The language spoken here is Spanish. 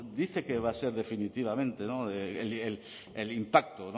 dice que va a ser definitivamente el impacto